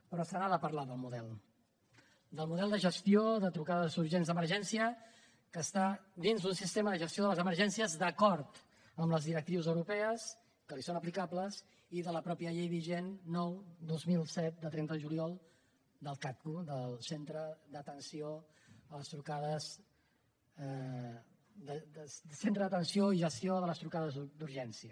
però se n’ha de parlar del model del model de gestió de trucades urgents d’emergència que està dins d’un sistema de gestió de les emergències d’acord amb les directrius europees que li són aplicables i de la mateixa llei vigent nou dos mil set de trenta de juliol del cagtu del centre d’atenció i gestió de les trucades d’urgència